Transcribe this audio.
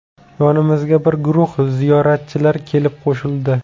Yonimizga bir guruh ziyoratchilar kelib qo‘shildi.